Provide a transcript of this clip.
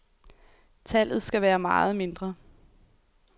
Tallet skal være meget mindre.